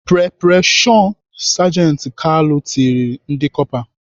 "Pre pre shọn! " sajenti Kalu tirile ndị Kọpa.